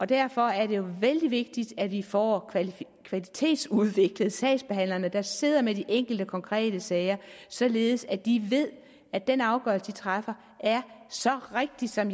derfor er det jo vældig vigtigt at vi får kvalitetsudviklet sagsbehandlerne der sidder med de enkelte konkrete sager således at de ved at den afgørelse de træffer er så rigtig som